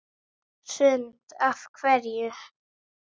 Hrund: Af hverju?